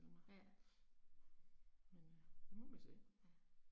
Ja. Ja